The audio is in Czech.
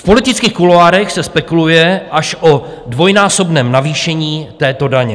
V politických kuloárech se spekuluje až o dvojnásobném navýšení této daně.